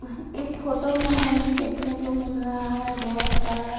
इस फोटो में हमें देखने को मिल रहा है बहुत सारा--